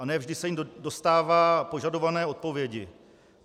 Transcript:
A ne vždy se jim dostává požadované odpovědi.